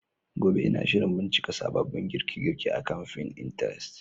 Gobe, Ina shirin bincika sababbin girke-girke akan Pinterest.